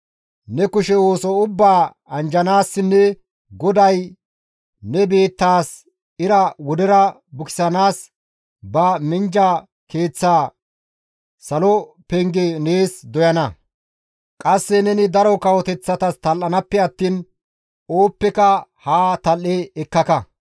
Ne kushe ooso ubbaa anjjanaassinne GODAY ne biittaas ira wodera bukisanaas ba minjja keeththaa, salo penge nees doyana; qasse neni daro kawoteththatas tal7anaappe attiin ooppeka haa tal7e ekkaka.